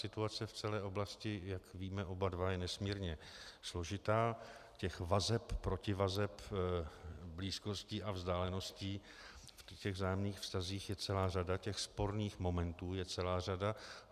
Situace v celé oblasti, jak víme oba dva, je nesmírně složitá, těch vazeb, protivazeb, blízkostí a vzdáleností v těch vzájemných vztazích, je celá řada, těch sporných momentů je celá řada.